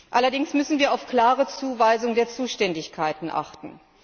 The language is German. Allerdings müssen wir auf eine klare Zuweisung der Zuständigkeiten achten.